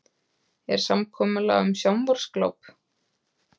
Er samkomulag um sjónvarpsgláp?